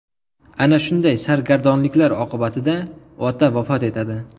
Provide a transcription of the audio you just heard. Ana shunday sargardonliklar oqibatida ota vafot etadi.